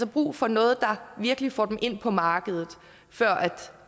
brug for noget der virkelig får dem ind på markedet før